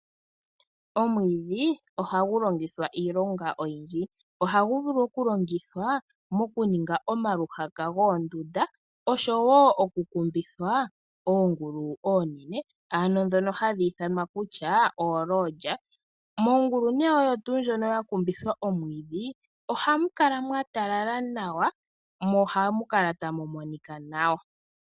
Omwiidhi ohagu longithwa iilonga oyindji, ohagu vulu okulongithwa mokuninga omaluhaka goonduda, osho wo okukumbitha oongulu onene ano dhono hadhi ithanwa kutya olodga. Mongulu oyo tuu ndjono yakumbithwa omwiidhi ohamu kala mwatalala nawa mo ohamu kala ta mu monika nawa.